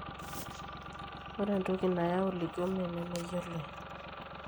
ore entoki nayau leukamia naa meyioloi